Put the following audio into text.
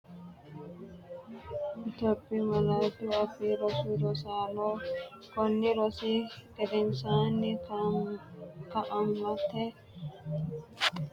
Itophiyu Malaatu Afii Roso Rosaano, konni rosi gedensaanni Kaa’amate dana Itophiyu malaatu afiinni kultinanni Itophiyu Malaatu Afii Roso Rosaano, konni.